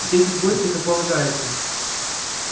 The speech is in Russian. встретить гостя как полагается